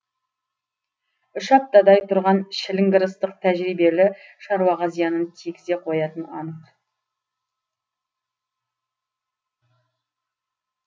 үш аптадай тұрған шіліңгір ыстық тәжірибелі шаруаға зиянын тигізе қоятыны анық